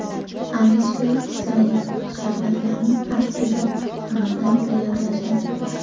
Alisher Isayev Sharbatlarni aslida nimadan tayyorlashadi?